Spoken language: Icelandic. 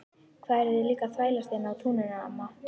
Hvað eruð þið líka að þvælast hérna á túninu amma?